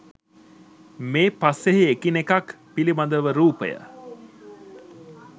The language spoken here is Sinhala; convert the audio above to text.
මේ පසෙහි එකිනෙකක් පිළිබඳව රූපය